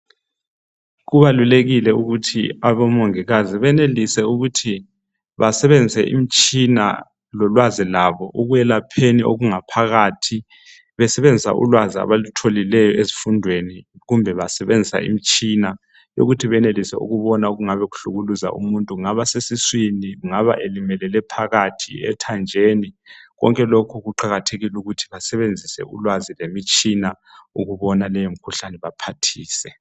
Kubalulekile ukuthi abomongikazi banelise ukuthi basebenzise imitshina lolwazi lwabo ekwelapheni okungaphakathi besebenzisa ulwazi abalutholileyo ezifundweni kumbe basebenzise imitshina kuthi benelise ukubona okunga ngaphakathi esiswini loba ethanjeni konke lokhu kubalulekile ukuthi basebenzise ulwazi lemitshina ukuze baphathise.